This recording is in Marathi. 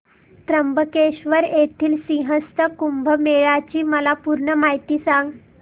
त्र्यंबकेश्वर येथील सिंहस्थ कुंभमेळा ची मला पूर्ण माहिती सांग